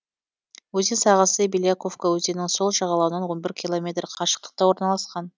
өзен сағасы беляковка өзенінің сол жағалауынан он бір километр қашықтықта орналасқан